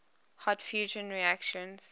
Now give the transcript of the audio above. hot fusion reactions